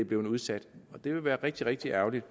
blevet udsat og det ville være rigtig rigtig ærgerligt